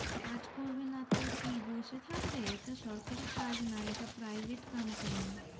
কাজ করবে নাতো কি বসে থাকবে এটা সরকারি কাজ নয় এটা private company